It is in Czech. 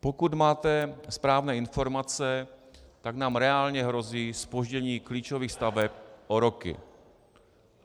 Pokud máte správné informace, tak nám reálně hrozí zpoždění klíčových staveb o roky.